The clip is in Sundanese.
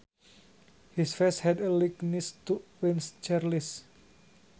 His face had a likeness to Prince Charles